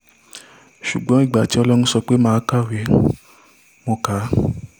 ṣùgbọ́n ìgbà tí ọlọ́run sọ pé mà á kàwé mo kà á